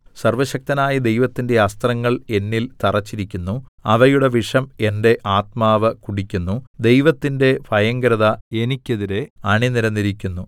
സർവ്വശക്തനായ ദൈവത്തിന്റെ അസ്ത്രങ്ങൾ എന്നിൽ തറച്ചിരിക്കുന്നു അവയുടെ വിഷം എന്റെ ആത്മാവ് കുടിക്കുന്നു ദൈവത്തിന്റെ ഭയങ്കരത എനിക്കെതിരെ അണിനിരന്നിരിക്കുന്നു